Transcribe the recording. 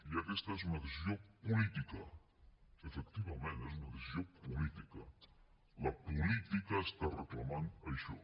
i aquesta és una decisió política efectivament és una decisió política la política està reclamant això